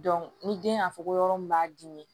ni den y'a fɔ ko yɔrɔ min b'a dimi